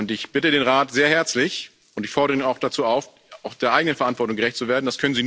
Ich bitte den Rat sehr herzlich und ich fordere ihn auch dazu auf, auch der eigenen Verantwortung gerecht zu werden.